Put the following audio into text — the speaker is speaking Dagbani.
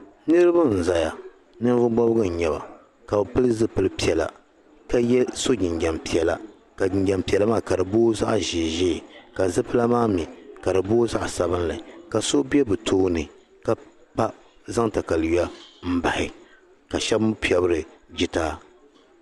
Niriba n-zaya ninvuɣ' bɔbigu n-nyɛ ba ka bɛ pili zipil' piɛla ka so jinjam piɛla ka jinjam piɛla maa ka di booi zaɣ' ʒeeʒee ka zipila maa mi ka di booi zaɣ' sabilinli ka so be bɛ tooni ka zaŋ takayua m-bahi ka shɛba mi piɛbiri jitaai.